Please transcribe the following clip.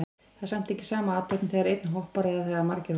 Það er ekki sama athöfn þegar einn hoppar eða þegar margir hoppa.